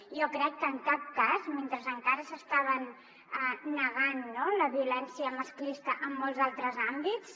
jo crec que en cap cas mentre encara s’estava negant la violència masclista en molts altres àmbits